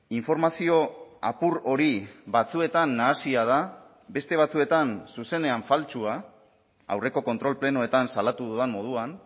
informazio apur hori batzuetan nahasia da beste batzuetan zuzenean faltsua aurreko kontrol plenoetan salatu dudan moduan